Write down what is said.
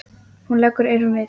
Hún leggur eyrun við.